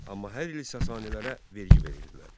Amma hər il Sasanilərə vergi verirdilər.